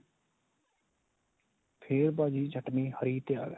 ਫੇਰ ਭਾਜੀ ਚਟਣੀ ਹਰੀ ਤਿਆਰ ਏ.